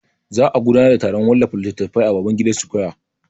Za'a gudanar da taron wallafa littatafai a Babangida square.